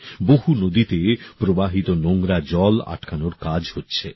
বহু নদীতে প্রবাহিত নোংরা জল আটকানোর কাজ হচ্ছে